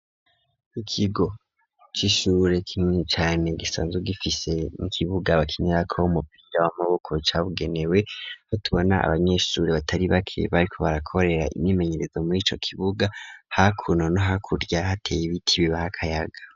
Ikigo cishure kimwe cane gisanzwe gifise nikibuga bakinira ko umupira w'amaboko cabugenewe aho tubona abanyeshure batari bake bariko barakorera imyimenyerezo murico kibuga hakuno no hakurya hateye ibiti bibaha akayaga.